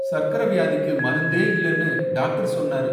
சர்க்கரை வியாதிக்கு மருந்தே இல்லனு டாக்டர் சொன்னாரு.